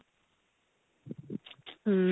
hm